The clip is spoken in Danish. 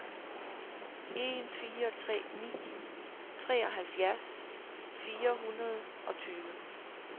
en fire tre ni treoghalvfjerds fire hundrede og tyve